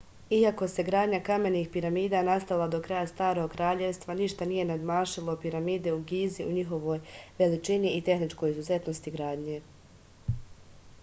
iako se gradnja kamenih piramida nastavila do kraja starog kraljevstva ništa nije nadmašilo piramide u gizi u njihovoj veličini i tehničkoj izuzetnosti gradnje